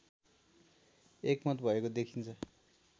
एकमत भएको देखिन्छ